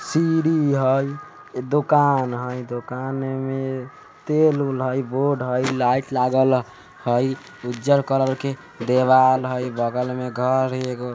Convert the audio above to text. CD हाय दुकान हाय दुकान में तेल वुल हाय बोर्ड लागल हाय लाईट लागल हाय उज्जल कलर के दीवाल हाय बगल में घर हाय।